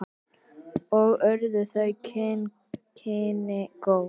Og urðu þau kynni góð.